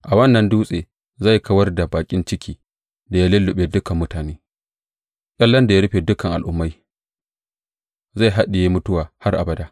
A wannan dutse zai kawar da baƙin cikin da ya lulluɓe dukan mutane, ƙyallen da ya rufe dukan al’ummai; zai haɗiye mutuwa har abada.